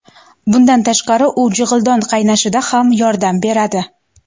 Bundan tashqari, u jig‘ildon qaynashida ham yordam beradi.